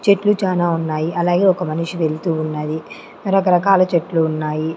చెట్లు చాలా ఉన్నాయి అలాగే ఒక మనిషి వెళ్తూ ఉన్నది రకరకాల చెట్లు ఉన్నాయి.